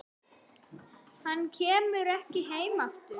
Hann kemur ekki heim aftur.